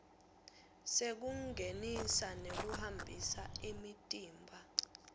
sekungenisa nekuhambisa imitimba